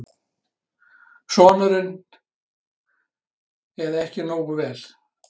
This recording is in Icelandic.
Sonurinn: Eða ekki nógu vel.